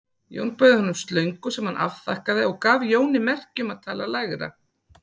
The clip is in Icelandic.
Jón bauð honum slöngu sem hann afþakkaði og gaf Jóni merki um að tala lægra.